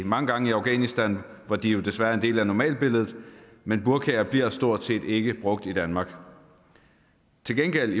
mange gange i afghanistan hvor de jo desværre er en del af normalbilledet men burkaer bliver stort set ikke brugt i danmark til gengæld